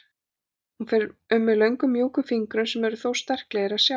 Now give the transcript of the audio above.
Hún fer um mig löngum mjúkum fingrum sem þó eru svo sterklegir að sjá.